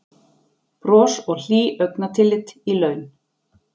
Bros og hlý augnatillit í laun